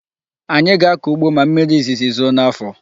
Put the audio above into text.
Anyị ga-akọ ugbo ma mmiri izizi zoo n'afọ.